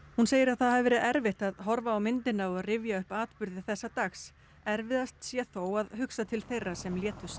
hún segir að það hafi verið erfitt að horfa á myndina og rifja upp atburði þessa dags erfiðast sé þó að hugsa til þeirra sem létust